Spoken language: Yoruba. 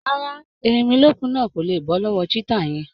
Rárá, erinmilókùn náà kò lé bọ́ lọ́wọ́ cheetah yẹn